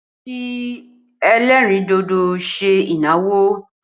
Wọn fi ẹlẹ́rìn dodo ṣe ìnáwó